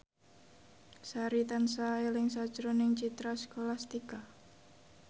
Sari tansah eling sakjroning Citra Scholastika